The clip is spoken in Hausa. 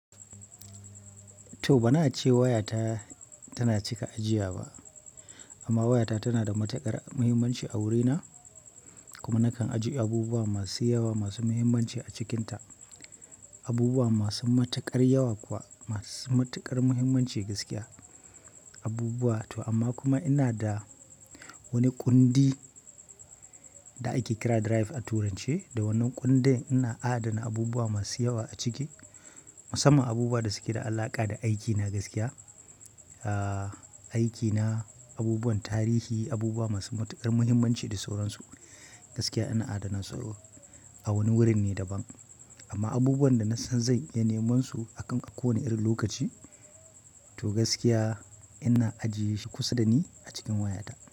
To banace wayata tana cika ajiya ba amma waya ta tana da matukar muhimmanci a wuri na kuma nakan ajiye abubuwa masu yawa masu muhimmanci a cikin ta abubuwa masu matuƙar yawa kuwa masu matuƙar muhimmanci gaskiya abubuwa. To amma kuma ina da wani kundi da ake kira drive a turanci, da wannan kundin ina adana abubuwa masu yawa a ciki, musamman abubuwa da suke da alaƙa da aikina gaskiya, aa aikina, abubuwan tarihi, abubuwa masu matuƙar muhimmanci da sauransu. Gaskiya ina adana sauro a wani wurin ne daban. Amma abubuwan da nasan zan iya neman su akan a kowane irin lokaci, to gaskiya ina ajie shi kusa da ni a cikin wayata.